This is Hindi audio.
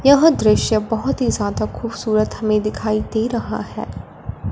यह दृश्य बहुत ही ज्यादा खूबसूरत हमें दिखाई दे रहा है।